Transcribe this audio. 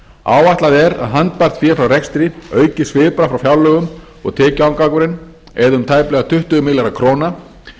áætlað er að handbært fé frá rekstri aukist svipað frá fjárlögum og tekjuafgangurinn eða um tæplega tuttugu milljarðar króna